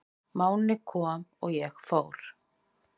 Máni kom og ég fór.